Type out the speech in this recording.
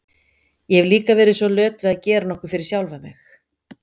Ég hef líka verið svo löt við að gera nokkuð fyrir sjálfa mig.